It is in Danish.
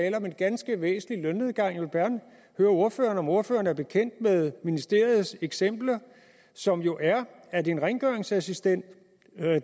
en ganske væsentlig lønnedgang jeg vil gerne høre ordføreren om ordføreren er bekendt med ministeriets eksempel som jo er at en rengøringsassistent